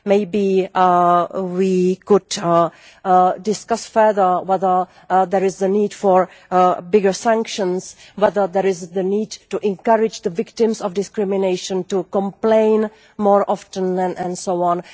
Maybe we could discuss further whether there is a need for bigger sanctions, whether there is a need to encourage victims of discrimination to complain more often, and so on.